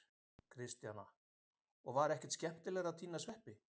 Kristjana: Og var ekki skemmtilegt að tína sveppi?